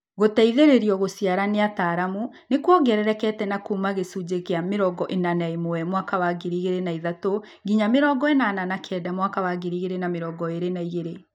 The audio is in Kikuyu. Gũteithĩrĩrio gũciara nĩ ataaramu nĩkuongererekete kuuma gĩcunjĩ kĩa mĩrongo ĩna na ĩmwe mwaka wa 2003 nginya mĩrongo ĩnana na kenda mwaka 2022